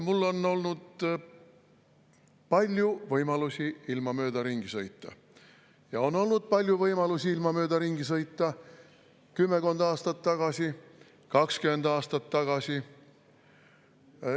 Mul on olnud palju võimalusi ilma mööda ringi sõita ja on olnud palju võimalusi ilma mööda ringi sõita kümmekond aastat tagasi, 20 aastat tagasi.